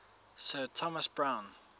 sir thomas browne